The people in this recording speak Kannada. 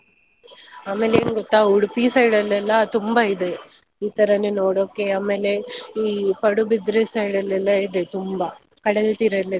ಆಮೇಲೆ ಏನ್ ಗೊತ್ತಾ Udupi side ಲೆಲ್ಲ ತುಂಬಾ ಇದೆ ಇತರನೇ ನೋಡೋಕೆ ಆಮೇಲೆ ಈ Padubidri side ಅಲ್ಲೆಲ್ಲ ಇದೆ ತುಂಬಾ ಕಡಲತೀರ ಇದೆ.